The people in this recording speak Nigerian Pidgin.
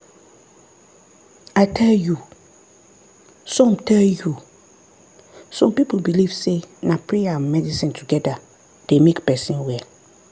i tell you! some tell you! some people believe say na prayer and medicine together dey make person well.